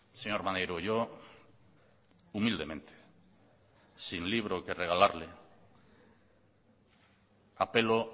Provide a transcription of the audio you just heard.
señor maneiro yo humildemente sin libro que regalarle apelo